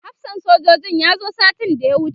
hafsan sojojin ya zo satin da ya wuce